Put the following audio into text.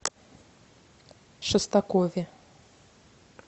шестакове